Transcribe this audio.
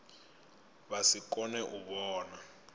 vha si kone u vhona